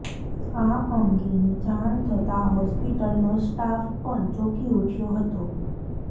આ અંગેની જાણ થતાં હોસ્પિટલનો સ્ટાફ પણ ચોંકી ઉઠ્યો હતો